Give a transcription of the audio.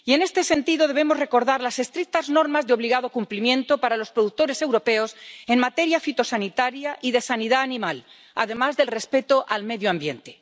Y, en este sentido, debemos recordar las estrictas normas de obligado cumplimiento para los productores europeos en materia fitosanitaria y de sanidad animal, además del respeto del medio ambiente.